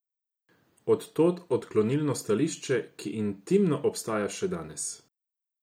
Od tod odklonilno stališče, ki intimno obstaja še danes.